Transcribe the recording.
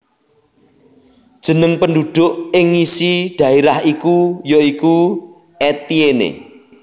Jeneng penduduk ing ngisi daerah iku ya iku Etienne